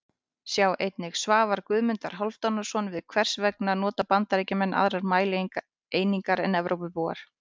Sjá einnig: Svar Guðmundar Hálfdanarsonar við Hvers vegna nota Bandaríkjamenn aðrar mælieiningar en Evrópubúar?